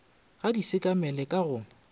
ga di sekamele ka go